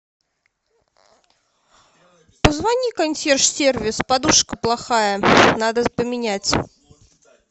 позвони в консьерж сервис подушка плохая надо поменять